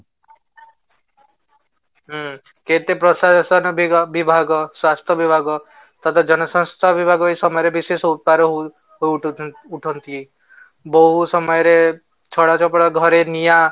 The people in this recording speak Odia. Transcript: ହଁ, କେତେ ପ୍ରଶାସନ ବିଭାଗ ସ୍ୱାସ୍ଥ୍ୟ ବିଭାଗ ତାପରେ ଜନ ସ୍ୱାସ୍ଥ୍ୟ ବିଭାଗ ଏଇ ସମୟରେ ବିଶେଷ ଉପାୟରେ ହଉ ଉଠନ୍ତି ବହୁତ ସମୟରେ ଛପର ଘରେ ନିଆଁ